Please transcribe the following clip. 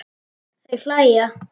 Þau hlæja.